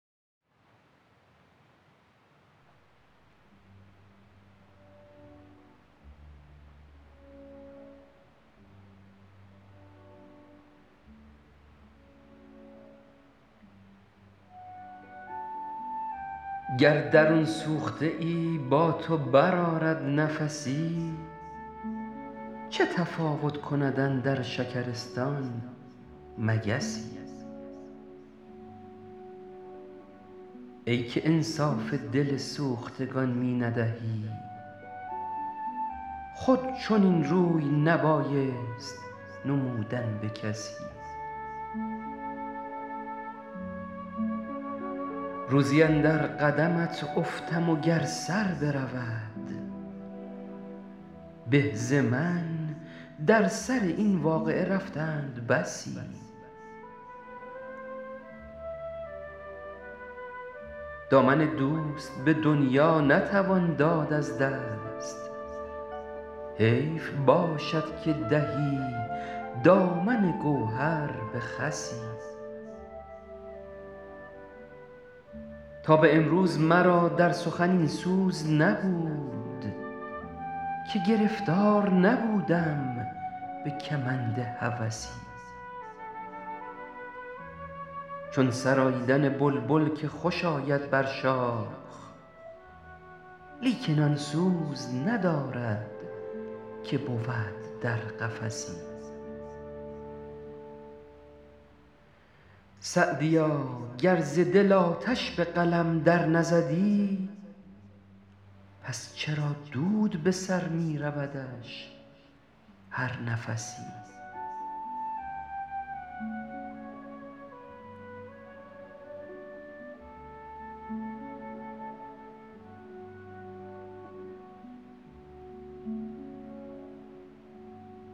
گر درون سوخته ای با تو برآرد نفسی چه تفاوت کند اندر شکرستان مگسی ای که انصاف دل سوختگان می ندهی خود چنین روی نبایست نمودن به کسی روزی اندر قدمت افتم و گر سر برود به ز من در سر این واقعه رفتند بسی دامن دوست به دنیا نتوان داد از دست حیف باشد که دهی دامن گوهر به خسی تا به امروز مرا در سخن این سوز نبود که گرفتار نبودم به کمند هوسی چون سراییدن بلبل که خوش آید بر شاخ لیکن آن سوز ندارد که بود در قفسی سعدیا گر ز دل آتش به قلم در نزدی پس چرا دود به سر می رودش هر نفسی